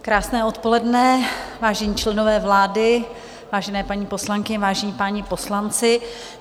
Krásné odpoledne, vážení členové vlády, vážené paní poslankyně, vážení páni poslanci.